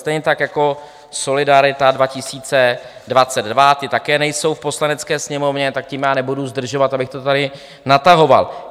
Stejně tak jako Solidarita 2022, ti také nejsou v Poslanecké sněmovně, tak tím já nebudu zdržovat, abych to tady natahoval.